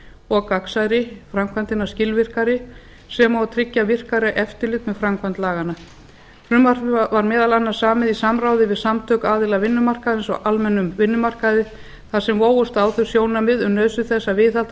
og gagnsærri framkvæmdina skilvirkari sem og tryggja virkara eftirlit meðframkvæmd laganna frumvarpið var meðal annars samið í samráði við samtök aðila vinnumarkaðarins á almennum vinnumarkaði þar sem vógust á þau sjónarmið um nauðsyn þess að viðhalda